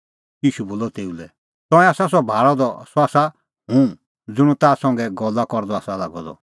ईशू बोलअ तेऊ लै तंऐं आसा सह भाल़अ द सह आसा हुंह ज़ुंण ताह संघै गल्ला करदअ आसा लागअ द